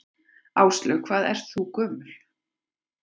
Áslaug: Hvað ert þú gömul?